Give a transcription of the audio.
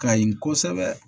Kayi kosɛbɛ